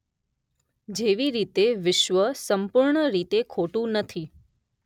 જેવી રીતે વિશ્વ સંપૂર્ણ રીતે ખોટું નથી